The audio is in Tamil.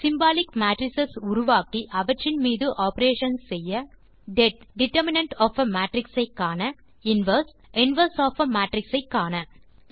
சிம்பாலிக் மேட்ரிஸ் உருவாக்கி அவற்றின் மீது ஆப்பரேஷன்ஸ் செய்ய det determinant of a matrix ஐ காண inverse inverse of a matrix ஐ காண